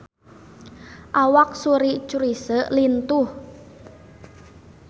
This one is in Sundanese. Awak Suri Cruise lintuh